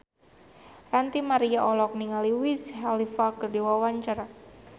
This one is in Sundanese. Ranty Maria olohok ningali Wiz Khalifa keur diwawancara